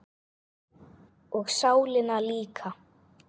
Og sálina líka.